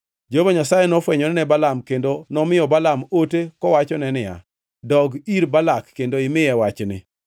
Jehova Nyasaye nofwenyore ne Balaam kendo nomiyo Balaam ote kowachone niya, “Dog ir Balak kendo imiye wachni.”